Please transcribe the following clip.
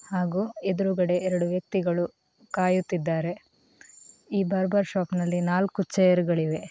ಹಾಗೂ ಎದುರುಗಡೆ ಎರಡು ವ್ಯಕ್ತಿಗಳು ಕಾಯುತ್ತಿದ್ದಾರೆ ಈ ಬಾರ್ಬರ್ ಶಾಪ್ನಲ್ಲಿ ನಾಲ್ಕು ಚೇರುಗಳಿವೆ